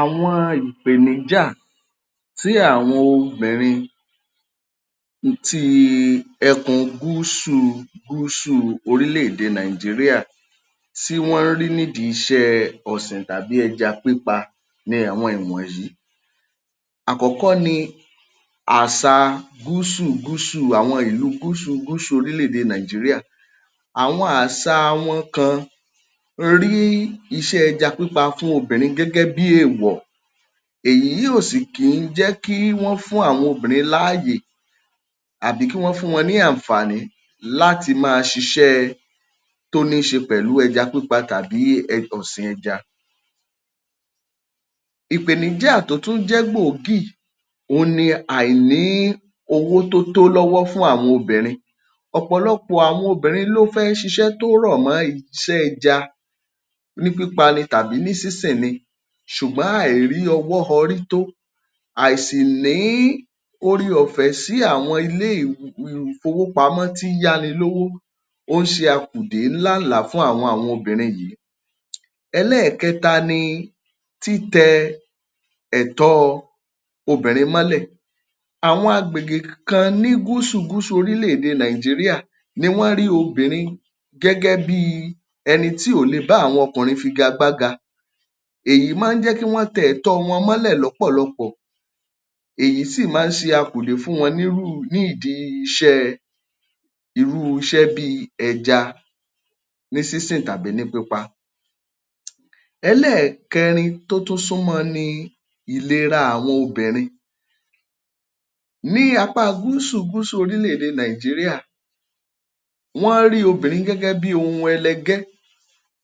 Àwọn ìpèníjà tí àwọn obìnrin ti ẹkùn Gúúsù Gúúsù orílẹ̀ èdè Nàìjíríà tí wọ́n ń rí nídìi iṣẹ́ ọ̀sìn tàbí ẹja pípa ni àwọn ìwọ̀nyí. Àkọ́kọ́ ní ààsa Gúúsù Gúúsù àwọn ìlú Gúúsù Gúúsù orílẹ̀ èdè Nàìjíríà. Àwọn ààsa wọn kan rí iṣẹ́ ẹja pípa fún obìnrin gẹ́gẹ́ bí èèwọ̀. Èyí ò sì kì í jẹ́ kí wọ́n fún àwọn obìnrin láàyè tàbí kí wọ́n fún wọn ní àǹfààní láti máa ṣiṣẹ́ tó níṣe pẹ̀lú ẹja pípa tàbí um ọ̀sìn ẹja. Ìpèníjà tó tún jẹ́ gbòógì, òun ni àìní-owó tó tó lọ́wọ́ fún àwọn obìnrin. Ọ̀pọ̀lọpọ̀ àwọn obìnrin ló fẹ́ ṣiṣẹ́ tó rọ̀ mọ́ ẹja ní pípa ni tàbí ní sínsìn ni ṣùgbọ́n àìrí ọwọ́ họrí tó àìsìní-oreọ̀fẹ́ sí àwọn ilé ìfowópamọ́ tí í yáni lówó, ó ń ṣe akùdé làálàá fún àwọn obìnrin yìí. Ẹlẹ́ẹ̀kẹta ni títẹ ẹ̀tọ́ọ obìnrin mọ́lẹ̀. Àwọn agbègbè kan ní Gúúsù Gúúsù orílẹ̀ èdè Nàìjíríà ni wọ́n rí obìnrin gẹ́gẹ́ bíi ẹni tí ò lè bá okùnrin figagbága. Èyí máa ń jẹ́ kí wọ́n tẹ ẹtọ̀ọ́ wọn mọ́lẹ̀ lọ́pọ̀lọpọ̀. Èyí sì máa ń ṣe akùdé fún wọn nírú ní ìdí iṣẹ́ irú iṣẹ́ bíi ẹja ní sínsìn tàbí ní pípa. Ẹlẹ́ẹ̀kẹrin tó tún súmọ́ ni ìlera àwọn obìnrin. Ní apá Gúúsù Gúúsù orílẹ̀ èdè Nàìjíríà, wọ́n rí obìnrin gẹ́gẹ́ bíi ohun ẹlẹgẹ́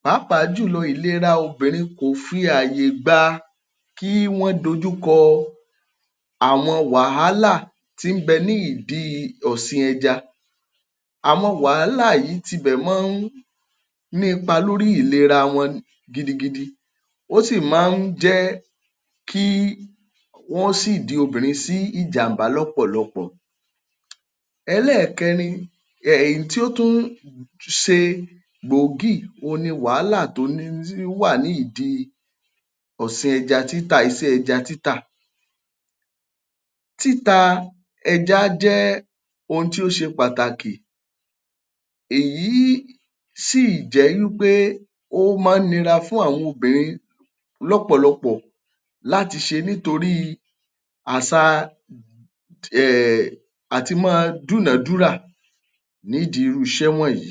pàápàá jùlọ ìlera obìnrin kò fi ààyè gba kí wọ́n dojúkọ àwọn wàhálà tí í bẹ ní idìi ọsìn ẹja. Àwọn wàhálà yìí tibẹ̀ máa ń ní ipa lórí ìlera wọn gidigidi, ó sì máa ń jẹ́ kí wọ́n ṣíìdi obìnrin sí ìjàm̀bá lọ́pọ̀lọpọ̀. Ẹlẹ́ẹ̀kẹrin èyí tí ó tún ṣe gbòógì òun ni wàhálà tó um wà ní ìdí ọ̀sìn ẹja títà iṣẹ́ ẹja títà. Títa ẹja jẹ́ ohun tí ó ṣe Pàtàkì, èyí sí ì jẹ́ wípé ó máa ń nira fún àwọn obìnrin lọ́pọ̀lọpọ̀ láti ṣe nítorí àsàa um àti máa dúnàádúrà nídìí irú iṣẹ́ wọ̀nyí.